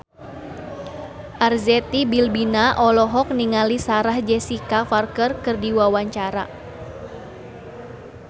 Arzetti Bilbina olohok ningali Sarah Jessica Parker keur diwawancara